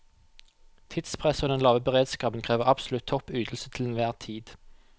Tidspresset og den lave beredskapen krever absolutt topp ytelse til enhver tid.